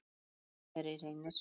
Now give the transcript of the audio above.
Góða ferð, kæri Reynir.